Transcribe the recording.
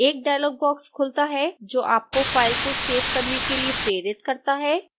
एक dialog box खुलता है जो आपको फाइल को सेव करने के लिए प्रेरित करता है